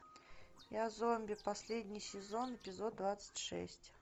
я зомби последний сезон эпизод двадцать шесть